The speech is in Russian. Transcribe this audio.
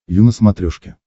ю на смотрешке